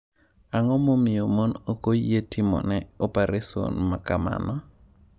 Ang’o momiyo mon ok oyie timone opareson ma kamano?